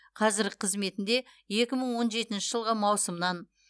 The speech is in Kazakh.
қазіргі қызметінде екі мың он жетінші жылғы маусымнан